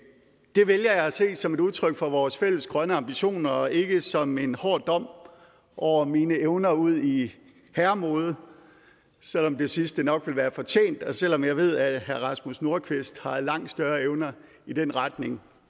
det vælger jeg at se som et udtryk for vores fælles grønne ambitioner og ikke som en hård dom over mine evner udi herremode selv om det sidste nok ville være fortjent og selv om jeg ved at herre rasmus nordqvist har langt større evner i den retning